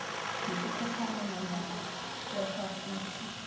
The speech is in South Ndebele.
yesikhatjhana nanyana yasafuthi